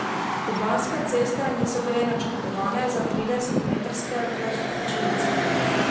Kubanske ceste niso bile načrtovane za tridesetmetrske vlačilce.